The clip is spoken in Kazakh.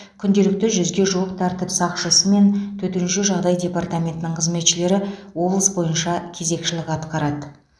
күнделікті жүзге жуық тәртіп сақшысы мен төтенше жағдай департаментінің қызметшілері облыс бойынша кезекшілік атқарады